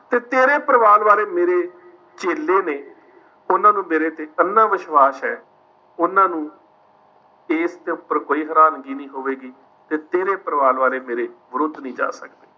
ਤੇ ਤੇਰੇ ਪਰਿਵਾਰ ਵਾਲੇ ਮੇਰੇ ਚੇਲੇ ਨੇ। ਉਨ੍ਹਾਂ ਨੂੰ ਮੇਰੇ ਤੇ ਅੰਨ੍ਹਾ ਵਿਸ਼ਵਾਸ ਹੈ, ਉਨ੍ਹਾਂ ਨੂੰ ਇਸ ਦੇ ਉੱਪਰ ਕੋਈ ਹੈਰਾਨਗੀ ਨਹੀਂ ਹੋਵੇਗੀ ਕਿ ਤੇਰੇ ਪਰਿਵਾਰ ਵਾਲੇ ਮੇਰੇ ਵਿਰੁੱਧ ਨਹੀਂ ਜਾ ਸਕਦੇ।